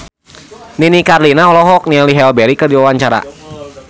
Nini Carlina olohok ningali Halle Berry keur diwawancara